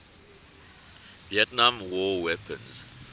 vietnam war weapons